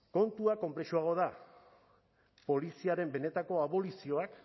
kontua konplexuagoa da poliziaren benetako abolizioak